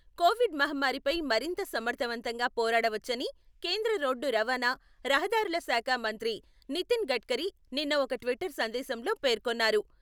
Covid మహమ్మారిపై మరింత సమర్థవంతంగా పోరాడ వచ్చని కేంద్ర రోడ్డు రవాణా, రహదారుల శాఖ మంత్రి నితిన్ గట్కరీ నిన్న ఒక ట్విట్టర్ సందేశంలో పేర్కొన్నారు.